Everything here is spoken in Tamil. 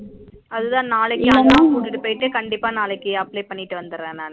அதான் நாளைக்கு நானா கூட்டிட்டு போயிட்டு கண்டிப்பா நாளைக்கு apply பண்ணிட்டு வந்துற நானு